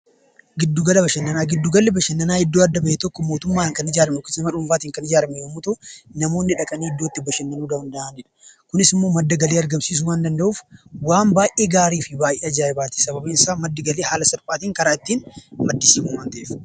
Gidduu gallu bashannanaa iddoo adda bahe kan itti ijaarame yoo ta'u, namoonni dhaqanii iddoo itti bashannanuu danda'anidha. Kunis immoo madda galaa argamsiisuu waan danda'uuf waan baay'ee gaarii fi ajaayibaati. Sababiin isaa karaa salphaatiin haala ittiin maddisiisu waan ta'eef